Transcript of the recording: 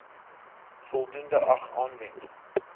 voldoende ag aanwend